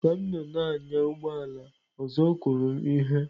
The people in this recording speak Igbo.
Ka m nọ na-anya ụgbọ ala ọzọ kụrụ m ihe.